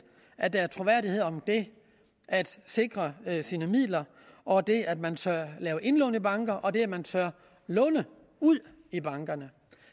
at der er troværdighed om det at sikre sine midler og det at man tør lave indlån i bankerne og det at man tør låne ud i bankerne